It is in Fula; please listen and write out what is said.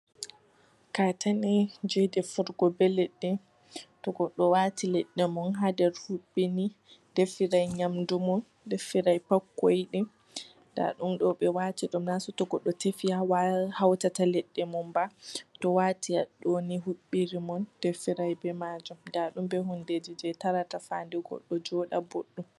Katene je defugo be leɗɗe, to goɗɗo wati leɗɗe mun ha nder huɓɓi ni defira nyamdu mun, defirai pat ko yiɗi, nda ɗum ɗo ɓe wati ɗum na saito goɗɗo tefi ha way hawtata leɗɗe mun ba, to wati ha ɗo ni huɓɓi ɗum on defira be majum. Nda ɗum ɓe hundeji je tarata sare goɗɗo joɗa ɓoɗɗum.